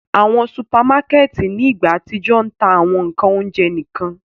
Awọn supamakẹti ni igba atijọ ń ta awọn ńkan ounjẹ nikan.